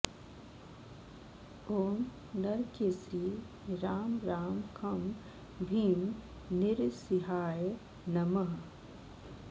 ॐ नरकेसरी रां रां खं भीं नृसिंहाय नमः